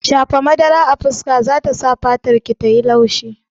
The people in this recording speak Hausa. Shafa madara a fuska zata sa fatarki tayi laushi